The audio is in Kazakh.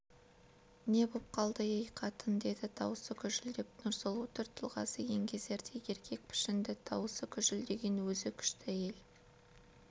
не боп қалды ей қатын деді даусы гүжілдеп нұрсұлу түр-тұлғасы еңгезердей еркек пішінді даусы гүжілдеген өзі күшті әйел